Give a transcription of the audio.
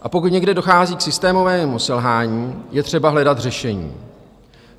A pokud někde dochází k systémovému selhání, je třeba hledat řešení.